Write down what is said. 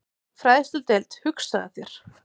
Fræðsludeild, hugsaðu þér!